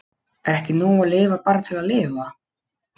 Er ekki nóg að lifa bara til að lifa?